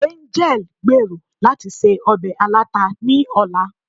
angẹl gbèrò lati se obe alata ni ọla